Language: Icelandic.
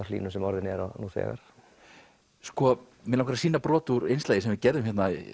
hlýnun sem orðin er nú þegar mig langar að sýna brot úr innslagi sem við gerðum